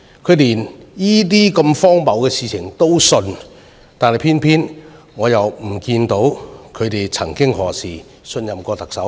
他們連如此荒謬的事情也相信，偏偏我看不到他們曾幾何時信任過特首。